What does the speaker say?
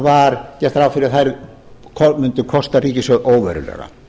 var gert ráð fyrir að þær mundu kosta ríkissjóð óverulega